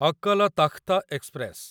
Akal Takht express